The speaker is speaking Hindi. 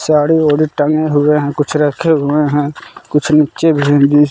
साड़ी वाड़ी टंगे हुए हैं कुछ रखे हुए हैं कुछ नीचे